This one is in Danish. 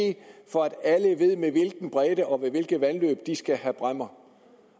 for at alle ved med hvilken bredde og ved hvilke vandløb de skal have bræmmer